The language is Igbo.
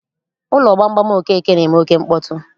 Ụlọ gbamgbam Okeke na-eme oké mkpọtụ